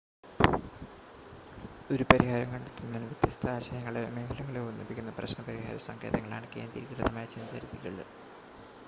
ഒരു പരിഹാരം കണ്ടെത്തുന്നതിന് വ്യത്യസ്ത ആശയങ്ങളെയോ മേഖലകളെയോ ഒന്നിപ്പിക്കുന്ന പ്രശ്‌ന പരിഹാര സങ്കേതങ്ങളാണ് കേന്ദ്രീകൃതമായ ചിന്താ രീതികൾ